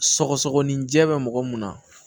Sɔgɔsɔgɔninjɛ bɛ mɔgɔ mun na